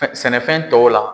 sɛnɛfɛn tɔw la.